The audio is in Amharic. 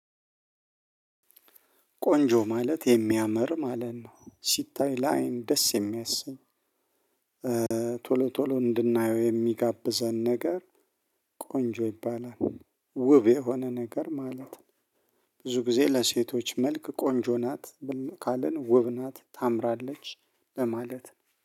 ቆንጆ ማለት የሚያምር ማለት ነው ሲታይ ለአይን ደስ የሚያሰኝ ቶሎ ቶሎ እድናዬው እሚጋብዘን ነገር። ቆንጆ ይባላል ውብ የሆነ ነገር ማለት ነው። ብዙ ጊዜ ለሴቶች መልክ ቆንጆ ናት ካልን ውብ ናት ታምራለች ለማለት።